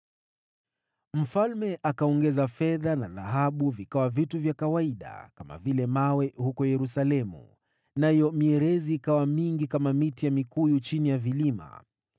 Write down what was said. Mfalme akafanya fedha na dhahabu kuwa vitu vya kawaida kama mawe huko Yerusalemu, mierezi akaifanya kuwa mingi kama mikuyu vilimani.